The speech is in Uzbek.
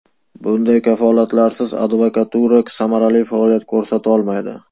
Bunday kafolatlarsiz advokatura samarali faoliyat ko‘rsatolmaydi.